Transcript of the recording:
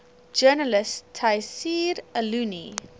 journalist tayseer allouni